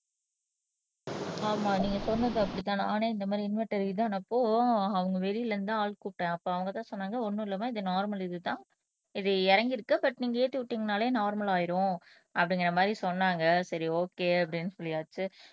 ஆமா நீங்க சொன்னது அப்படித்தான் நானே இந்த மாதிரி இன்வெர்டர் இதுதானே அப்போ அவங்க வெளியில இருந்து தான் ஆள் கூப்பிட்டேன் அப்ப அவங்கதான் சொன்னாங்க ஒண்ணும் இல்லாம இது நார்மல் இதுதான் இது இறங்கிருக்கு நீங்க ஏத்தி விட்டீங்கன்னாலே நார்மல் ஆயிடும் அப்படிங்கிற மாதிரி சொன்னாங்க சரி ஒகே அப்படின்னு சொல்லியாச்சு